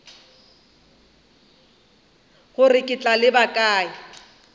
gore ke tla leba kae